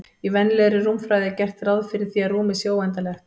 Í venjulegri rúmfræði er gert ráð fyrir því að rúmið sé óendanlegt.